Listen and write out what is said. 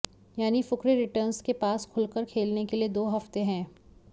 यानि फुकरे रिटर्न्स के पास खुलकर खेलने के लिए दो हफ़्ते हैं